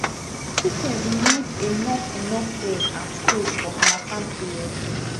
chickens need enough enough air and space for hamattan period